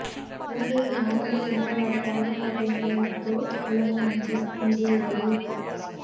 இலங்கையின் ஆரம்ப சுகாதார பாதுகாப்பு முறைமைக்கு உலக வங்கி நிதி உதவி